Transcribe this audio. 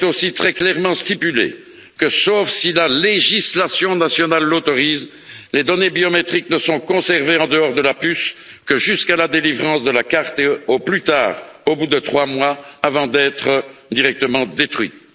Il est aussi très clairement stipulé que, sauf si la législation nationale l'autorise, les données biométriques ne sont conservées, en dehors de la puce, que jusqu'à la délivrance de la carte, ou au maximum pendant trois mois, avant d'être détruites.